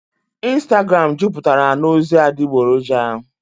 ịnstagram juputara na ozi adịgboroja.